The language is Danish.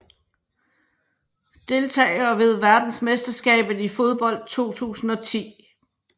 Deltagere ved verdensmesterskabet i fodbold 2010